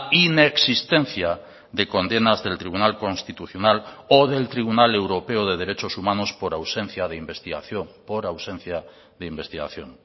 inexistencia de condenas del tribunal constitucional o del tribunal europeo de derechos humanos por ausencia de investigación por ausencia de investigación